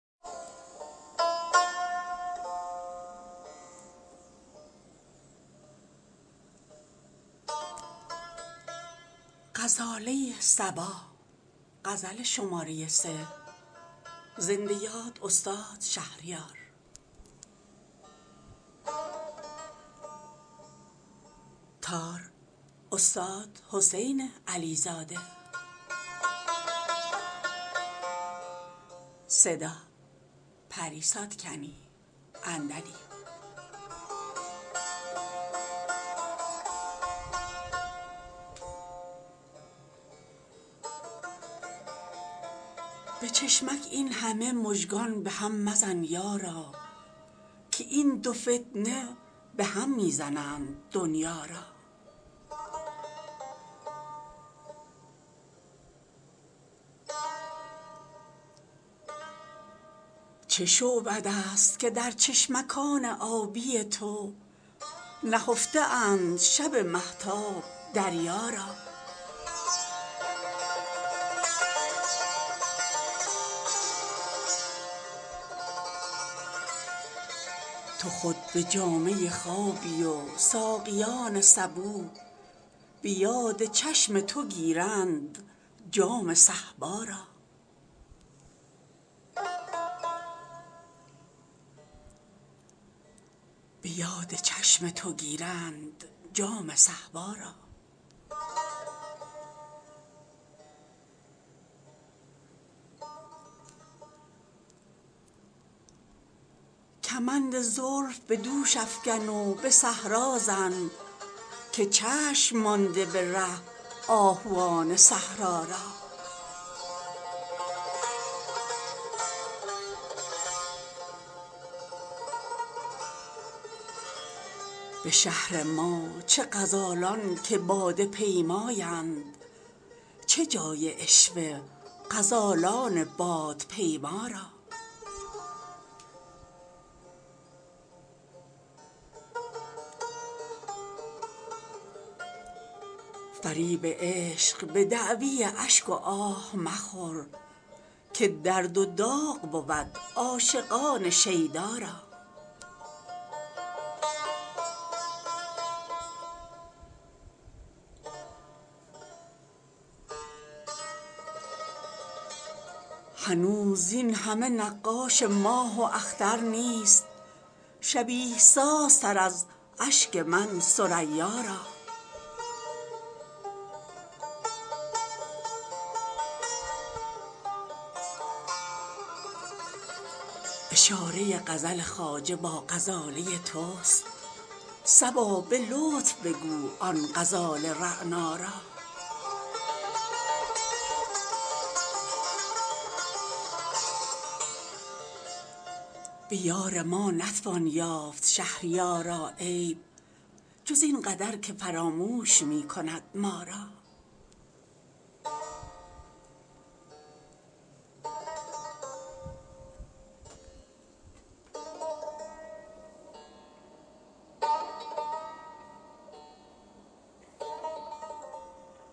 به چشمک این همه مژگان به هم مزن یارا که این دو فتنه به هم می زنند دنیا را چه شعبده است که در چشمکان آبی تو نهفته اند شب ماهتاب دریا را تو خود به جامه خوابی و ساقیان صبوح به یاد چشم تو گیرند جام صهبا را کمند زلف به دوش افکن و به صحرا زن که چشم مانده به ره آهوان صحرا را به شهر ما چه غزالان که باده پیمایند چه جای عشوه غزالان بادپیما را ندانم از چه به سر شور عشقبازی نیست پریوشان عفیف فرشته سیما را فریب عشق به دعوی اشک و آه مخور که درد و داغ بود عاشقان شیدا را قبیله ها همه عاشق شوند با تو ولی قبیله ای ست که مجنون شوند لیلا را میان ما و تو پیری حجاب و فاصله نیست چه یوسفی که فرامش کند زلیخا را اگرچه مریم قدس است رسم وامق نیست که چشم باز کند جز جمال عذرا را هنوز زین همه نقاش ماه و اختر نیست شبیه سازتر از اشک من ثریا را حریم روضه رضوان حرام من بادا گر اختیار کنم جز طواف طوبا را اشاره غزل خواجه با غزاله تست صبا به لطف بگو آن غزال رعنا را به یار ما نتوان یافت شهریارا عیب جز این قدر که فراموش می کند ما را